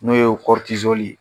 N'o ye ye